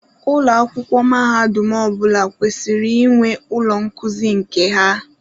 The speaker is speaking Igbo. Ụlọ akwụkwọ mahadum ọ bụla kwesịrị inwe ụlọ nkuzi nke ha.